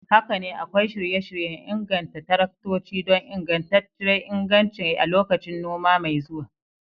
Haka ne, akwai shirye-shiryen inganta taraktoci don ingantacciyar inganci a lokacin noma mai zuwa.